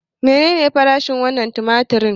Menene farashin wannan tumatir?